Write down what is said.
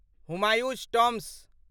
Humayun's tomb